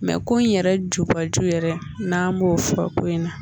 Mɛ ko in yɛrɛ jubaju yɛrɛ n'an b'o fɔra ko in na.